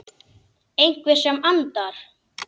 Einhver sem andar.